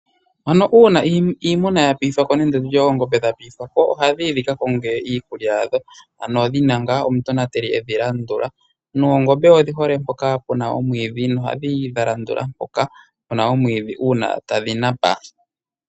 Ano uuna iimuna ya piithwa ko nenge ndi tye dha piithwa ko, oha dhiyi dhika konge iikulya yadho ano dhina nga omutonateli edhi landula. Noongombe odhi hole mpoka puna omwiidhi, nohadhi yi dha landula mpoka puna omwiidhi uuna tadhi napa.